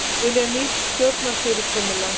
Vilja nýtt stjórnarfyrirkomulag